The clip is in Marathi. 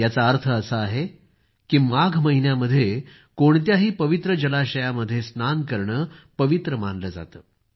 याचा अर्थ असा आहे की माघ महिन्यामध्ये कोणत्याही पवित्र जलाशयामध्ये स्नान करणं पवित्र मानलं जातं